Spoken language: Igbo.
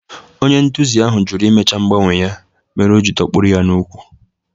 Onye nduzi ahụ jụrụ imecha mgbanwe ya mere o ji dọkpụrụ ya n'úkwù